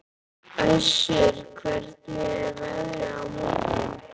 Össur, hvernig er veðrið á morgun?